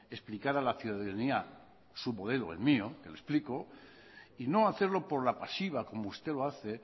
explicar a la ciudadanía su modelo el mío que le explico y no hacerlo por la pasiva como usted lo hace